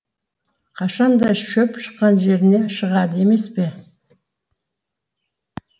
қашанда шөп шыққан жеріне шығады емес пе